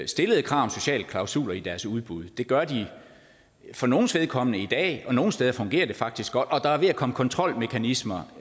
stillede krav om sociale klausuler i deres udbud det gør de for nogles vedkommende i dag og nogle steder fungerer det faktisk godt og der er ved at komme kontrolmekanismer